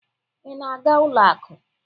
Ị na-aga ụlọ akụ?